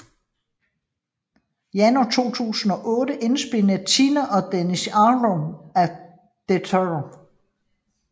Januar 2008 indspillede Tina og Dennis Ahlgren A Detour